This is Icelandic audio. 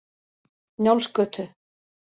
Njálsgötu